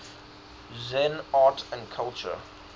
zen art and culture